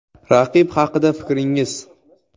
Raqib haqida fikringiz?